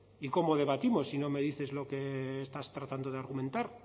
y cómo debatimos si no me dices lo que estás tratando de argumentar